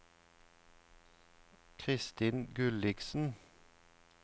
Christin Gulliksen